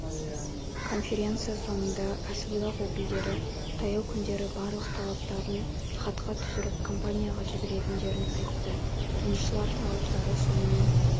конференция соңында кәсіподақ өкілдері таяу күндері барлық талаптарын хатқа түсіріп компанияға жіберетіндерін айтты жұмысшылар талаптары сонымен